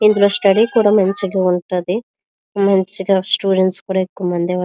ఇందులో స్టడీ కూడా మంచిగా ఉంటది మంచిగా స్టూడెంట్స్ కూడా ఎక్కువమందే --